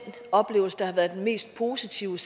oplevelse der var den mest positive